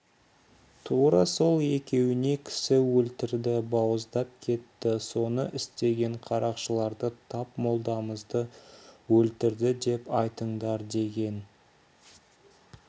тура сол екеуіне кісі өлтірді бауыздап кетті соны істеген қарақшыларды тап молдамызды өлтірді деп айтыңдар деген